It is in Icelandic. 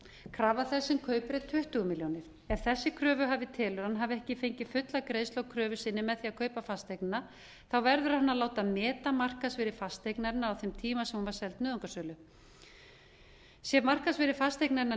krafa þess sem kaupir er tuttugu milljónir ef þessi kröfuhafi telur að hann hafi ekki fengið fulla greiðslu á kröfu sinni með því að kaupa fasteignina verðurhann að láta meta markaðsvirði fasteignarinnar á þeim tíma sem hún var seld nauðungarsölu sé markaðsvirði fasteignarinnar